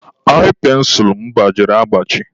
ai pensụlụ m gbajiri agbaji.